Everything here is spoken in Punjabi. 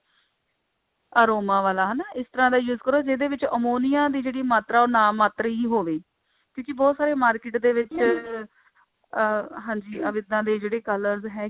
aroma ਵਾਲਾ ਹਨਾ ਇਸ ਤਰ੍ਹਾਂ ਦਾ use ਕਰੋ ਜਿਹਦੇ ਵਿੱਚ ਅਮੋਨੀਆ ਦੀ ਜਿਹੜੀ ਮਾਤਰਾ ਉਹ ਨਾਮਾਤਰ ਹੋਵੇ ਤੁਸੀਂ ਬਹੁਤ ਸਾਰੇ market ਦੇ ਵਿੱਚ ਅਹ ਹਾਂਜੀ ਇੱਦਾ ਦੇ ਜਿਹੜੇ colors ਹੈਗੇ